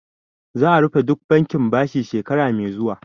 Za'a rufe duk bankin bashi shekara mai zuwa